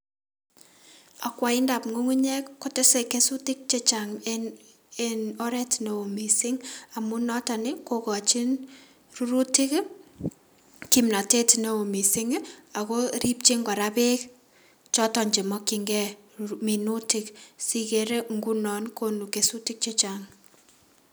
Akwaindad ngungunyek kotese kesutik che chang en oret neo missing amun moton nii kokochin rurutok kimnote eno missing ako ripjin koraa beek choton chemokin gee minutik siikere ngunon konu kesutik chechang.